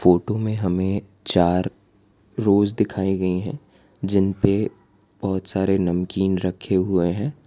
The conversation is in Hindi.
फोटो में हमें चार रोज दिखाई गई है जिनपे बहोत सारे नमकीन रखे हुए हैं।